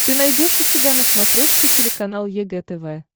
ты найдешь у себя на смотрешке телеканал егэ тв